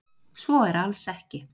svo er alls ekki